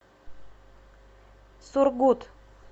сургут